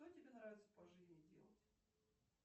что тебе нравится по жизни делать